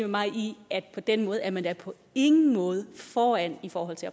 mig i at på den måde er man da på ingen måde foran i forhold til